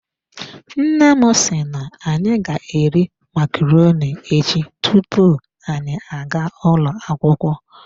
Nne m si na anyi ga eri macaroni echi tupu anyị agaa ụlọ akwukwo.